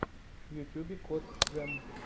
в ютубе кот джем